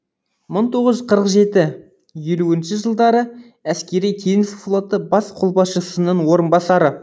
мың тоғыз жүз қырық жеті елуінші жылдары әскери теңіз флоты бас қолбасшысының орынбасары